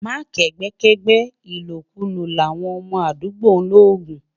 má kẹgbẹ kẹgbẹ, ìlò kú lò là wọn mọ àdúgbò logun